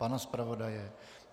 Pana zpravodaje?